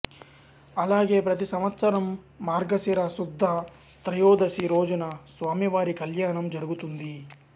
అలాగే ప్రతి సంవత్సరం మార్గశిర శుద్ధ త్రయోదశి రోజున స్వామివారి కళ్యాణం జరుగుతుంది